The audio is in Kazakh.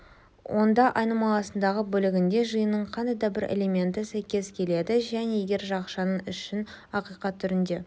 онда айнымалысындағы бөлігінде жиынының қандай да бір элементі сәйкес келеді және егер жақшаның ішін ақиқат түрінде